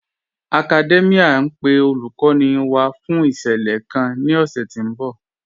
Academia n pe olúkòní wá fún ìṣẹlẹ̀ kàn ni ọ̀ṣẹ̀ tí n bọ̀